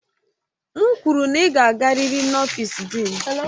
M kwuru na ị ga-agarịrị n'ọfịsi Dịịn!